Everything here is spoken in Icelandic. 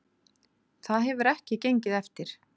Það hefur ekki gengið eftir